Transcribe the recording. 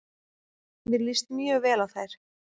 Mér líst mjög vel á þær.